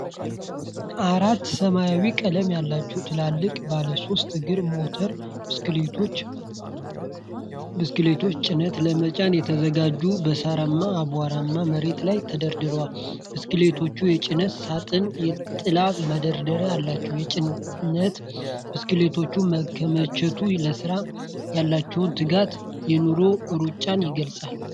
አራት ሰማያዊ ቀለም ያላቸው ትልልቅ ባለሶስት እግር ሞተር ብስክሌቶች (ጭነት ለመጫን የተዘጋጁ) በሳርማና አቧራማ መሬት ላይ ተደርድረዋል። ብስክሌቶቹ የጭነት ሳጥንና የጥላ ማደሪያ አላቸው። የጭነት ብስክሌቶቹ መከማቸት፤ ለሥራ ያላቸውን ትጋትን እና የኑሮን ሩጫን ይገልፃል።